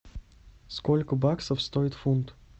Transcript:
сколько баксов стоит фунт